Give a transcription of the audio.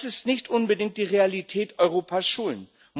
Das ist nicht unbedingt die Realität an Europas Schulen.